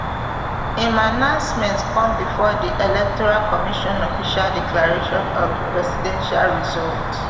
im announcement come bifor di electoral commission official declaration of di presidential result